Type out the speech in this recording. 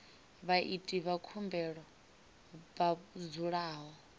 vhaiti vha khumbelo vha dzulaho